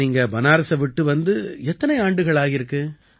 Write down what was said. அப்ப நீங்க பனாரஸை விட்டு வந்து எத்தனை ஆண்டுகள் ஆகியிருக்கு